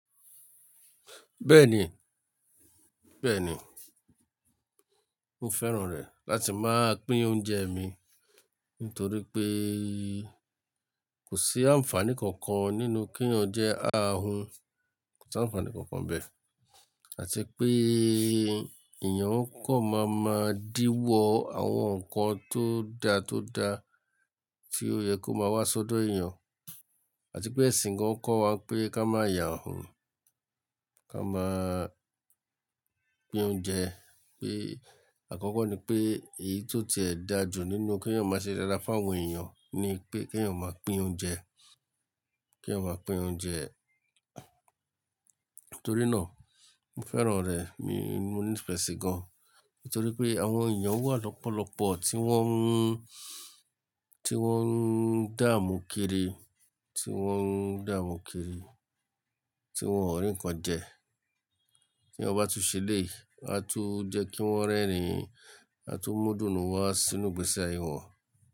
Bẹ́ẹ̀ni, bẹ́ẹ̀ni. Mo fẹ́ràn rẹ̀ láti máa pín oúnjẹ mi nítorí pé kò sí àǹfàní kankan nínú kí oúnjẹ á hun, kò sí àǹfàní kankan bẹ́ẹ̀. Àti pé èèyàn kọ̀ má má díwọ́ àwọn nǹkan tó dá tó dá tí ó yẹ kó máa wá sọ́dọ̀ èèyàn. Àti pé ẹ̀sìn gan kọ́ wa pé ká má ya hun, ká máa pín oúnjẹ. Pé àkọ́kọ́ ni pé èyí tó ti ẹ̀ dáa jù nínú kí èèyàn má ṣe dáda fún àwọn èèyàn ni pé kí èèyàn máa pín oúnjẹ, kí èèyàn máa pín oúnjẹ. Nítorí náà mo fẹ́ràn rẹ̀, mi, mo ní ìfẹ́ sí gan. Nítorí pé àwọn èèyàn wà lọ́pọ̀lọ́pọ̀ tí wọ́n ń, tí wọ́n ń dààmú kiri, tí wọ́n ń dààmú kiri, tí wọ́n ò rí nǹkan jẹ. Tí èèyàn bá tún ṣe eléyì, a tó jẹ́ kí wọ́n rẹ́rìn-ín, a tó mú dùnnú wá sínú ìgbèsè ayé wọn.